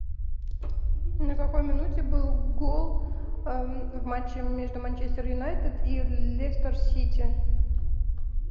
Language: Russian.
на какой минуте был гол в матче между манчестер юнайтед и лестер сити